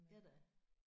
Ja da